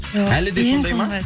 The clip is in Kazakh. әлі де сондай ма